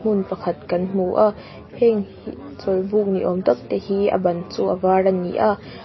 hmun pakhat kan hmu a heng hi chawlhbuk ni awm tak te hi a ban chu a var ani a--